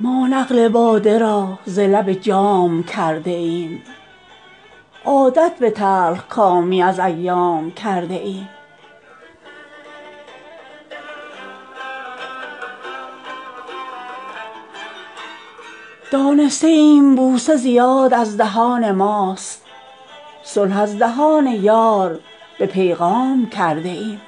ما نقل باده را ز لب جام کرده ایم عادت به تلخکامی از ایام کرده ایم دانسته ایم بوسه زیاد از دهان ماست صلح از دهان یار به پیغام کرده ایم